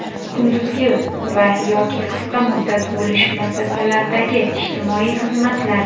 kunduzi va (yoki) qisqa muddat bo‘lish muassasalaridagi ijtimoiy xizmatlar;.